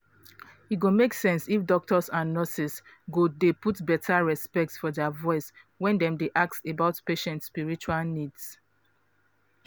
e go make sense if doctors and nurses go dey put beta respect for dia voice when dem dey ask about patient spiritual needs.